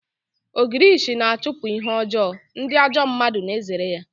Ogirishi na-achụpụ ihe ọjọọ, ndị ajọ mmadụ na-ezere ya